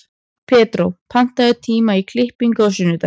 Pedró, pantaðu tíma í klippingu á sunnudaginn.